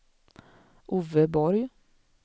Ove Borg